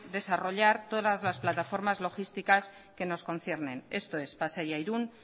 desarrollar todas las plataformas logísticas que nos conciernen esto es pasaia irún